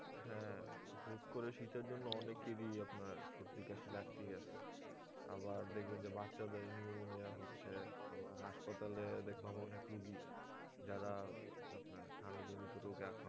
হ্যাঁ হুট্ করে শীতের জন্য অনেকেরই আপনার সর্দি কাশি লাগতেই আছে আবার দেখবেন যে বাচ্ছাদের pneumonia হচ্ছে আবার হাসপাতালে দেখলাম অনেক রুগী যারা আপনার ঠান্ডা জড়িত রোগে আক্রান্ত